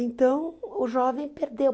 Então, o jovem perdeu.